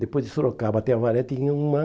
Depois de Sorocaba até Avaré tinha uma